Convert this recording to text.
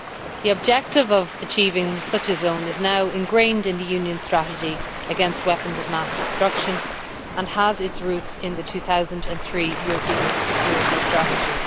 The objective of achieving such a zone is now ingrained in the Union's strategy against weapons of mass destruction and has its roots in the 2003 European security strategy.